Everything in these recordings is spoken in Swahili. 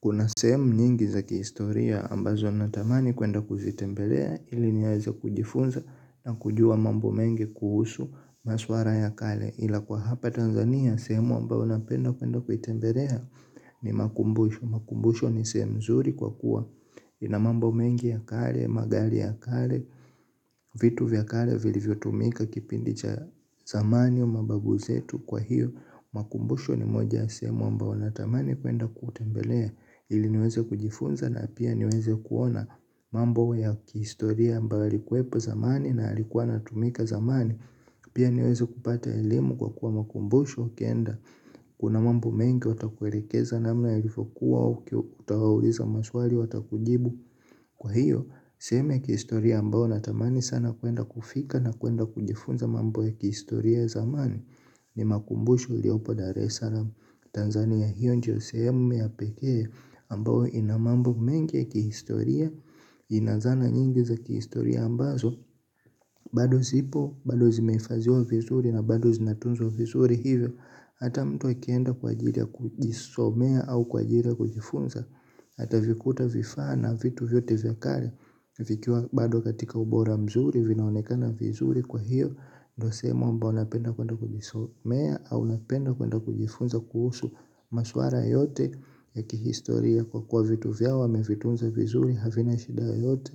Kuna sehemu nyingi za kihistoria ambazo natamani kuenda kuzitembelea ili niweze kujifunza na kujua mambo mengi kuhusu maswala ya kale ila kwa hapa Tanzania sehemu ambayo napenda kuenda kuitembelea ni makumbusho. Makumbusho ni sehemu nzuri kwa kuwa ina mambo mengi ya kale, magari ya kale, vitu vya kale vilivyo tumika kipindi cha zamani na mababu zetu kwa hiyo. Makumbusho ni moja ya sehemu ambayo natamani kuenda kutembelea ili niweze kujifunza na pia niweze kuona mambo ya kihistoria ambayo yalikuwepo zamani na yalikuwa yanatumika zamani. Pia niweze kupata elimu kwa kuwa makumbusho ukienda kuna mambo mengi watakuelekeza namna yalivyokuwa ukiwauliza maswali watakujibu. Kwa hiyo, sehemu ya kihistoria ambayo natamani sana kuenda kufika na kuenda kujifunza mambo ya kihistoria ya zamani. Ni makumbusho iliopo daresalam Tanzania. Hiyo ndiyo sehemu ya pekee ambayo ina mambo mengi ya kihistoria. Ina zana nyingi za kihistoria ambazo bado zipo, bado zimeifadhiwa vizuri na bado zinatunzwa vizuri hivyo. Hata mtu akienda kwa ajili ya kujisomea au kwa ajili ya kujifunza atavikuta vifaa na vitu vyote vya kale. Vikiwa bado katika ubora mzuri vinaonekana vizuri kwa hiyo. Ndio sehemu ambayo napenda kuenda kujisomea au napenda kuenda kujifunza kuhusu maswala yote ya kihistoria kwa kuwa vitu vyao wamevitunza vizuri havina shida yoyote.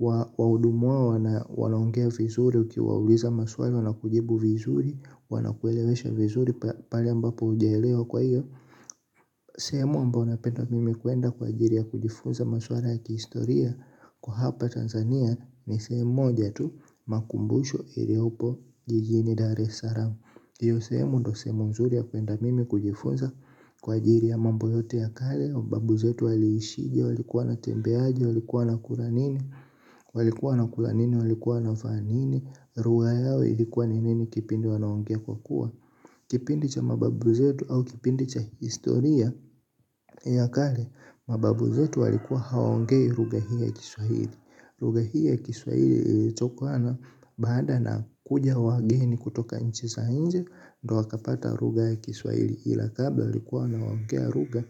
Wahudumu wao wanaongea vizuri ukiwauliza maswali wanakujibu vizuri. Wanakuelewesha vizuri pale ambapo ujaelewa kwa hiyo sehemu ambayo napenda mimi kuenda kwa ajili ya kujifunza maswala ya kihistoria. Kwa hapa Tanzania ni sehemu moja tu makumbusho iliopo jijini daresaramu. Iyo sehemu ndio sehemu nzuri ya kuenda mimi kujifunza kwa ajili ya mambo yote ya kale mababu zetu waliishije, walikuwa wanatembeaje, walikuwa wanakula nini. Walikuwa wanakula nini walikuwa wanavaa nini lugha yao ilikuwa ni nini kipindi wanaongea kwa kuwa kipindi cha mababu zetu au kipindi cha historia ya kale mababu zetu walikuwa hawaongei lugha hii ya kiswahili lugha hii ya kiswahili ilitokana baada na kuja wageni kutoka nchi za nje. Ndio wakapata lugha ya kiswahili ila kabla walikuwa wanaongea lugha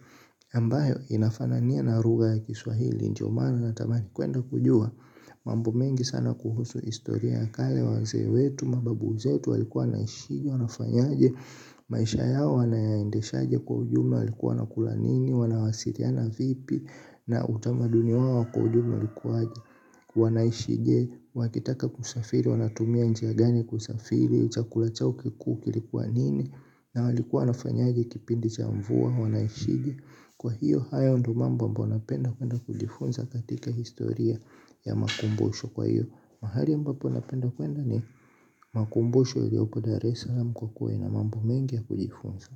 ambayo inafanania na lugha ya kiswahili. Ndio maana natamani kuenda kujua. Mamb mengi sana kuhusu historia ya kale wazee wetu, mababu zetu walikuwa naishije, wanafanyaje, maisha yao wanayaendeshaje kwa ujumla walikuwa wanakula nini, wanawasiliana vipi, na utamaduni wao wa kwa ujumla ulikuwa aje. Wanaishije, wakitaka kusafiri, wanatumia njia gani kusafiri, chakula chao kikuu kilikuwa nini, na walikuwa nafanyaje kipindi cha mvua, wanaishije. Kwa hiyo haya ndio mambo ambayo napenda kwenda kujifunza katika historia ya makumbusho kwa hiyo. Mahali ambapo napenda kwenda ni makumbusho ilioko dareslam kwa kuwa ina mambo mengi ya kujifunza.